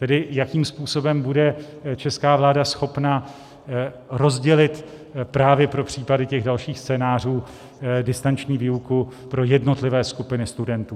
Tedy jakým způsobem bude česká vláda schopna rozdělit právě pro případy těch dalších scénářů distanční výuku pro jednotlivé skupiny studentů.